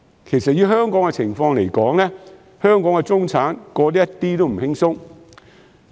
其實，以香港的情況來說，中產過得一點也不輕鬆。